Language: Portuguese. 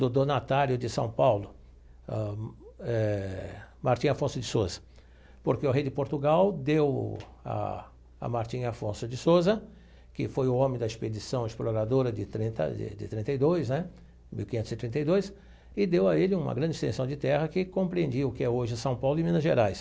do donatário de São Paulo ãh eh, Martim Afonso de Sousa, porque o rei de Portugal deu a a Martim Afonso de Sousa, que foi o homem da Expedição Exploradora de trinta de de trinta e dois né mil quinhentos e trinta e dois, e deu a ele uma grande extensão de terra que compreendia o que é hoje São Paulo e Minas Gerais.